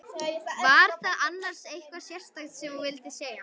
Var það annars eitthvað sérstakt sem þú vildir segja?